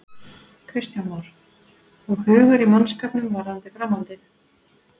Kristján Már: Og hugur í mannskapnum varðandi framhaldið?